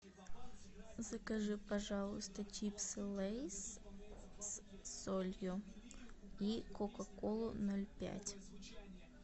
закажи пожалуйста чипсы лейс с солью и кока колу ноль пять